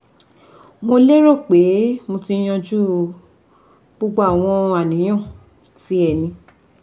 Mo lérò pé mo ti yanjú gbogbo àwọn àníyàn tí ẹ ní